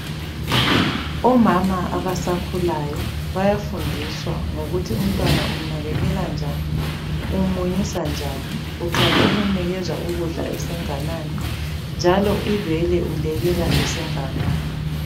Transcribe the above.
Omama abasakhulayo bayafundiswa ngokuthi umntwana umnakekela njani, umunyisa njani uqala ukumnikeza ukudla esenganani njalo ibele ulekela esenganani.